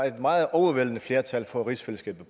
er et meget overvældende flertal for rigsfællesskabet